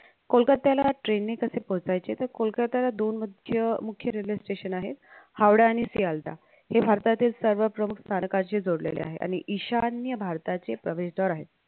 कोलकात्याला train ने कशे पोहचायचे त कोलकात्याला दोन मध्य मुख्य railway station आहेत हावडा आणि सियालता. हे भारतातील सर्व प्रमुख स्थानकांशी जोडलेले आहे आणि ईशान्य भारताचे प्रवेशद्वार आहे